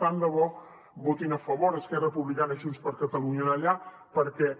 tant de bo hi votin a favor esquerra republicana i junts per catalunya allà perquè